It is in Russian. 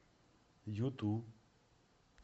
юту